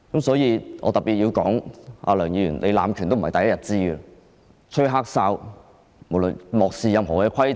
所以，我特別要說，梁議員濫權已不是第一天的事，"吹黑哨"，漠視任何規程......